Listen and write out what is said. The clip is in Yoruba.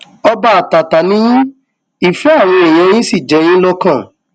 ọba àtàtà ni yín ìfẹ àwọn èèyàn yín sì jẹ yín lọkàn